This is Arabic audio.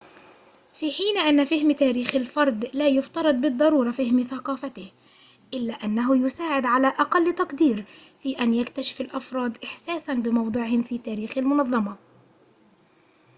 في حين أن فهم تاريخ الفرد لا يفترض بالضرورة فهم ثقافته إلا أنه يساعد على أقل تقدير في أن يكتشف الأفراد إحساساً بموضعهم في تاريخ المنظمة